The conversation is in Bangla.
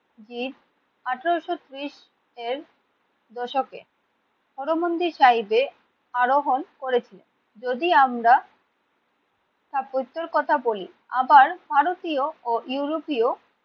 জির আঠেরোশো ত্রিশের দশকে হর মন্দির সাহেবের আরোহন করেছিল। যদি আমরা তার পুত্রের কথা বলি আবার ভারতীয় ও ইউরোপীয়